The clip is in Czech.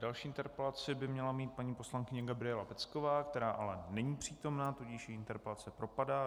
Další interpelaci by měla mít paní poslankyně Gabriela Pecková, která ale není přítomna, tudíž její interpelace propadá.